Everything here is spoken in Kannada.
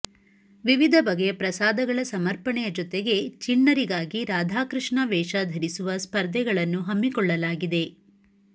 ವಿವಿಧ ಬಗೆಯ ಪ್ರಸಾದಗಳ ಸಮರ್ಪಣೆಯ ಜೊತೆಗೆ ಚಿಣ್ಣರಿಗಾಗಿ ರಾಧಾಕೃಷ್ಣ ವೇಷ ಧರಿಸುವ ಸ್ಪರ್ಧೆಗಳನ್ನು ಹಮ್ಮಿಕೊಳ್ಳಲಾಗಿದೆ